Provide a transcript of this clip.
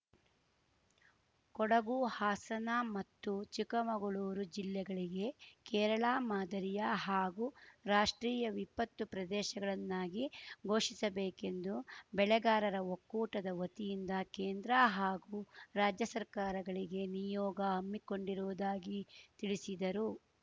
ಕೊಡಗುಹಾಸನ ಮತ್ತು ಚಿಕ್ಕಮಗಳೂರು ಜಿಲ್ಲೆಗಳಿಗೆ ಕೇರಳ ಮಾದರಿಯ ಹಾಗೂ ರಾಷ್ಟ್ರೀಯ ವಿಪತ್ತು ಪ್ರದೇಶಗಳನ್ನಾಗಿ ಘೋಷಿಸಬೇಕೆಂದು ಬೆಳೆಗಾರರ ಒಕ್ಕೂಟದ ವತಿಯಿಂದ ಕೇಂದ್ರ ಹಾಗೂ ರಾಜ್ಯ ಸರ್ಕಾರಗಳಿಗೆ ನಿಯೋಗ ಹಮ್ಮಿಕೊಂಡಿರುವುದಾಗಿ ತಿಳಿಸಿದರು